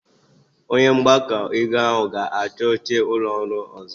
Onye mgbakọ ego ahụ ga-achọ oche ụlọ ọrụ ọzọ.